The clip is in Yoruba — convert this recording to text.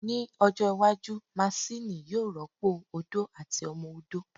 Ní ọjọ́ iwájú, maṣini yóò rọ́pò ó odó àti ọmọ odó